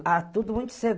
Ah, tudo muito cedo.